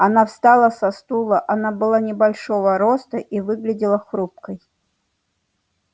она встала со стула она была небольшого роста и выглядела хрупкой